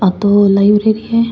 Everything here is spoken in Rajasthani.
आ तो लाइब्रेरी हैं।